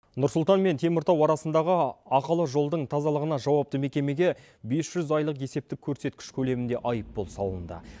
нұрсұлтан мен теміртау арасындағы ақылы жолдың тазалығына жауапты мекемеге бес жүз айлық есептік көрсеткіш көлемінде айыппұл салынды